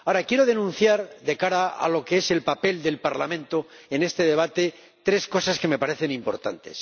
Ahora, quiero denunciar, de cara a lo que es el papel del Parlamento en este debate, tres cosas que me parecen importantes.